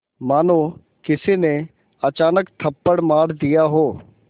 मानो किसी ने अचानक थप्पड़ मार दिया हो